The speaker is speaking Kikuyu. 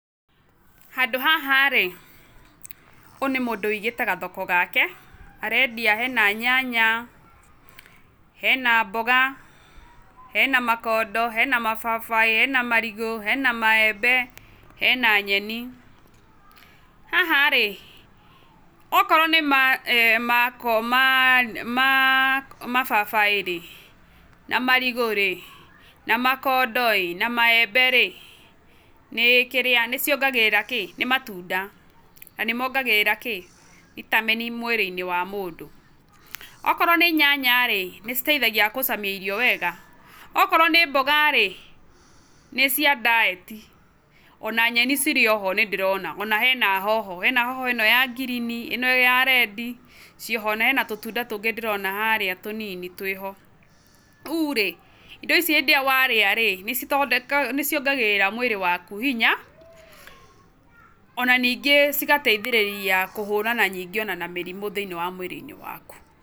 Handũ haha rĩ, ũyũ nĩ mũndũ ũigĩte gathoko gake, arendia hena nyanya, hena mboga, hena makondo, hena mababaĩ na marigũ, hena maembe, hena nyeni, haha rĩ okorwo nĩ mababaĩ rĩ na marigũ rĩ na makondo ĩ na maeĩbe rĩ nĩ ciongagĩrĩra kĩ? nĩ matunda na nĩ momgagĩrĩra kĩ? vitamin mwĩrĩ-inĩ wa mũndũ. Okorwo nĩ nyanya rĩ nĩ citeithagia gũcamia irio wega, okorwo nĩ mboga rĩ, nĩ cia diet ona nyeni cirĩ oho nĩ ndĩrona ona hena hoho, hena hoho ĩno ya green ĩno ya red, ciĩho na ena tũtunda tũngĩ ndĩrona harĩa tũnini twĩho. Rĩu rĩ indo ici hĩndĩ ĩrĩa warĩa rĩ nĩ ciongagĩrĩra mwĩrĩ waku hinya, ona ningĩ cigateithĩrĩria kũhũrana nyingĩ ona na mĩrimũ thĩiniĩ wa mwĩrĩ-inĩ waku.